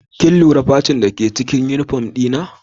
Kin lura facin dake cikin uniform dina?